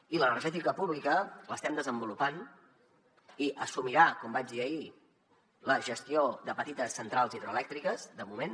i l’energètica pública l’estem desenvolupant i assumirà com vaig dir ahir la gestió de petites centrals hidroelèctriques de moment